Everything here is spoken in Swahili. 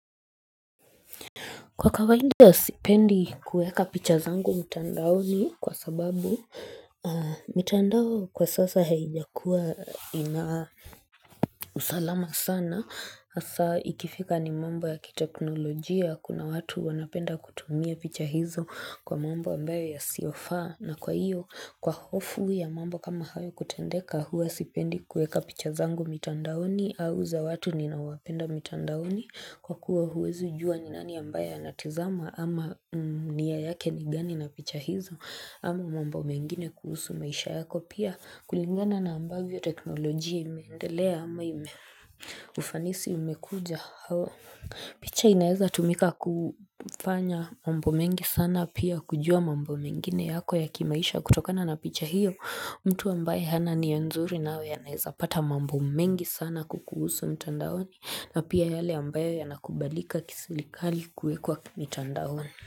Kwa kawaida sipendi kuweka picha zangu mtandaoni kwa sababu mitandao kwa sasa haijakuwa ina usalama sana. Hasa ikifika ni mambo ya kiteknolojia kuna watu wanapenda kutumia picha hizo kwa mambo ambayo yasiofaa. Na kwa hiyo kwa hofu ya mambo kama hayo kutendeka huwa sipendi kuweka picha zangu mtandaoni au za watu ninaowapenda mtandaoni. Kwa kuwa huwezi jua ni nani ambaye anatazama ama nia yake ni gani na picha hizo ama mambo mengine kuhusu maisha yako pia kulingana na ambavyo teknolojia imeendelea ama ufanisi umekuja hawa. Picha inaweza tumika kufanya mambo mengi sana pia kujua mambo mengine yako ya kimaisha kutokana na picha hiyo mtu ambaye hana nia nzuri nawe anaeza pata mambo mengi sana kukuhusu mitandaoni na pia yale ambayo yanakubalika kiserikali kuwekwa mitandaoni.